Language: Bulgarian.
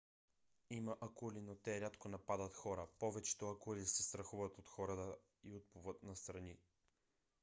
има акули но те рядко нападат хора. повечето акули се страхуват от хората и отплуват настрани